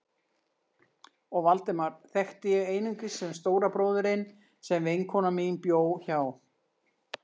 Og Valdemar þekkti ég einungis sem stóra bróðurinn sem vinkona mín bjó hjá.